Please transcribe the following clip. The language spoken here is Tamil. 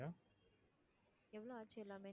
எவ்ளோ ஆச்சு எல்லாமே?